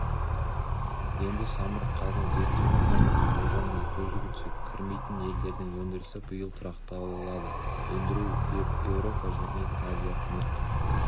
енді самұрық-қазына зерттеу командасының болжамына көз жүгіртсек кірмейтін елдердің өндірісі биыл тұрақталады өндіру еуропа мен азия-тынық